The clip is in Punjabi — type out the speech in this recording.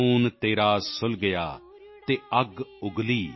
ਖੂਨ ਤੇਰਾ ਸੁਲਗਿਆ ਅਤੇ ਅੱਗ ਉਗਲੀ